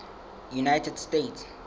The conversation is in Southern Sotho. united states